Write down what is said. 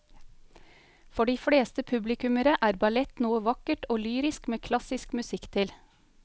For de fleste publikummere er ballett noe vakkert og lyrisk med klassisk musikk til.